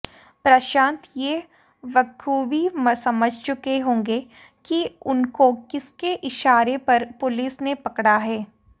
प्रशांत ये बख़ूबी समझ चुके होंगे कि उनको किसके इशारे पर पुलिस ने पकड़ा है